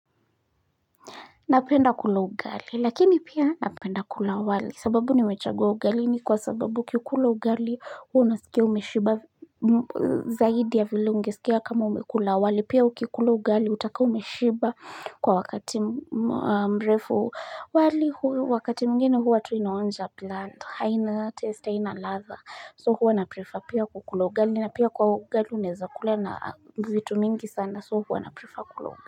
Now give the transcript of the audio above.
Napenda kula ugali lakini pia napenda kula wali. Sababu nimechagua ugali ni kwa sababu ukikula ugali unasikia umeshiba zaidi ya vile ungesikia kama umekula wali, pia ukikula ugali utakaa umeshiba kwa wakati mrefu. Wali wakati mwingine hua tu inaonja blunt, haina test, haina ladha, so hua naprefer pia kukula ugali na pia kwa ugali unaweza kula na vitu mingi sana so hua na prefer kula ugali.